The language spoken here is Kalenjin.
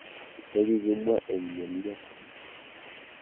Chekikimwa eng ng'elyep.